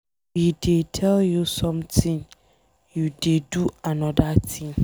We dey tell you something you dey do another thing.